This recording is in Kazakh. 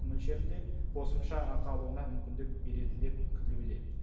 мөлшерінде қосымша ақы алуына мүмкіндік береді деп күтілуде